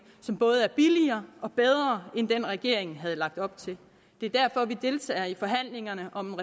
som både er billigere og bedre end den regeringen havde lagt op til det er derfor vi deltager i forhandlingerne om